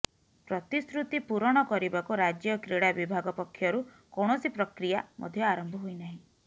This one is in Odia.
ପ୍ରତିଶ୍ରୁତି ପୁରଣ କରିବାକୁ ରାଜ୍ୟ କ୍ରୀଡ଼ା ବିଭାଗ ପକ୍ଷରୁ କୌଣସି ପ୍ରକ୍ରିୟା ମଧ୍ୟ ଆରମ୍ଭ ହୋଇ ନାହିଁ